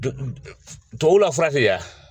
tubabuw la fura tɛ ye